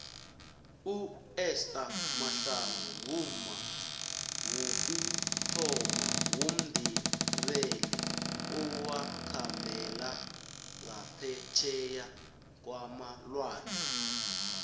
uester mahlangu ngumma wokuthoma womndebele owakhambela ngaphetjheya kwamalwandle